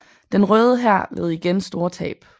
Den Røde Hær led igen store tab